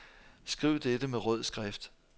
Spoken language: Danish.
Skriv dette med rød skrift.